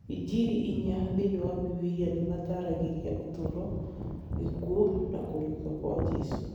Injiri inya thĩinĩ wa Bibiria nĩ mataaragĩria ũtũũro, gĩkuũ, na kũriũka kwa Jesũ.